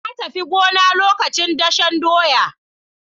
Na tafi gona lokacin dashen doya.